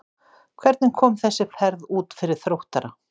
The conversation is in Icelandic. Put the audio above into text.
Hvernig kom þessi ferð út fyrir Þróttara?